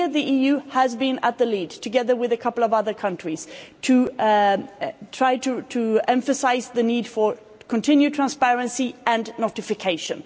Here the EU has been in the lead, together with a couple of other countries, to try to emphasise the need for continued transparency and notification.